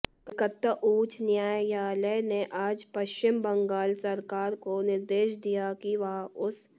कलकत्ता उच्च न्यायालय ने आज पश्चिम बंगाल सरकार को निर्देश दिया कि वह उस